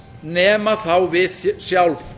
nema þá við sjálf